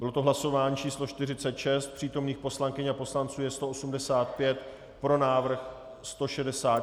Bylo to hlasování číslo 46, přítomných poslankyň a poslanců je 185, pro návrh 166, návrh byl přijat.